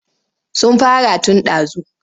Sun fara tun ɗazu.